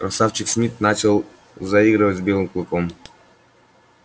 красавчик смит начал заигрывать с белым клыком